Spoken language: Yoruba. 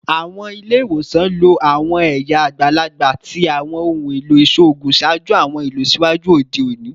Awọn ile-iwosan lo awọn ẹya agbalagba ti awọn ohun elo iṣoogun ṣaaju awọn ilọsiwaju ode oni